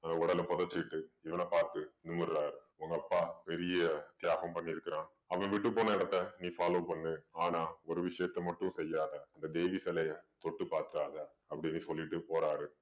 உடலை புதைச்சுக்கிட்டு இவன பார்த்து நிமிர்றாரு உங்க அப்பா பெரிய தியாகம் பண்ணியிருக்கிறான் அவன் விட்டு போன இடத்தை நீ follow பண்ணு ஆனா ஒரு விஷயத்த மட்டும் செய்யாதே அந்த தேவி சிலய தொட்டு பார்க்காதே அப்படின்னு சொல்லிட்டு போறாரு